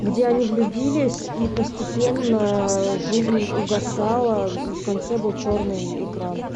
где они влюбились и постепенно жизнь угасала и в конце был черный экран